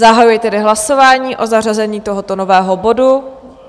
Zahajuji tedy hlasování o zařazení tohoto nového bodu.